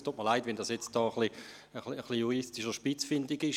Es tut mir leid, wenn dies juristisch etwas spitzfindig ist.